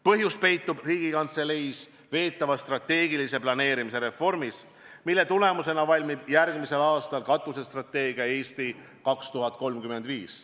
Põhjus peitub Riigikantselei veetavas strateegilise planeerimise reformis, mille tulemusena valmib järgmisel aastal katusstrateegia "Eesti 2035".